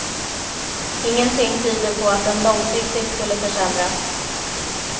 Ingenting tyder på att den långsiktigt skulle försämras.